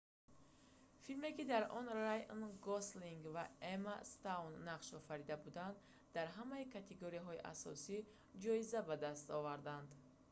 филме ки дар он райан гослинг ва эмма стоун нақш офарида буданд дар ҳамаи категорияҳои асосӣ ҷоиза ба даст овард